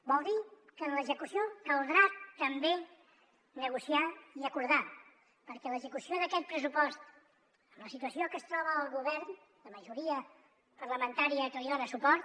vol dir que en l’execució caldrà també negociar i acordar perquè l’execució d’aquest pressupost amb la situació en què es troba el govern de majoria parlamentària que li dona suport